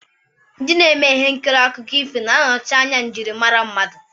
Ndị na-eme ihe nkiri na akụkọ ifo na-anọchi anya njirimara mmadụ.